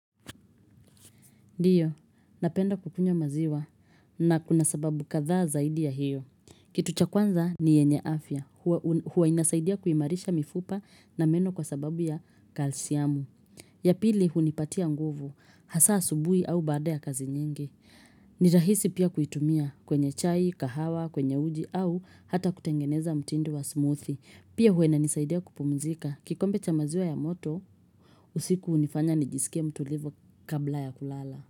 Ndiyo, napenda kukunywa maziwa na kuna sababu kadhaa zaidi ya hiyo. Kitu cha kwanza ni yenye afya. Huwa inasaidia kuimarisha mifupa na meno kwa sababu ya kalsiamu. Ya pili hunipatia nguvu. Hasaa asubuhi au baada ya kazi nyingi. Ni rahisi pia kuitumia kwenye chai, kahawa, kwenye uji au hata kutengeneza mtindo wa smoothie. Pia huwa inanisaidia kupumzika. Kikombe cha maziwa ya moto, usiku hunifanya nijisikie mtulivu kabla ya kulala.